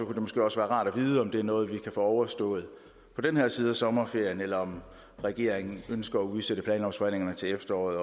det måske også være rart at vide om det er noget vi kan få overstået på den her side af sommerferien eller om regeringen ønsker at udsætte planlovsforhandlingerne til efteråret